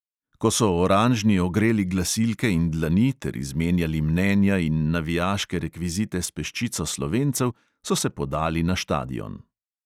Ko so oranžni ogreli glasilke in dlani ter izmenjali mnenja in navijaške rekvizite s peščico slovencev, so se podali na štadion.